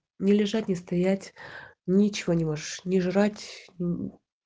не лежать не стоять ничего не можешь не жрать ни